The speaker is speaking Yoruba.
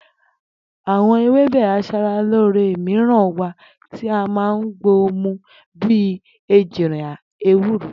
Àwo̩n ewébè as̩alóore mìíràn wà tí a máa ń gbo mu bí i ejìrìn, ewúro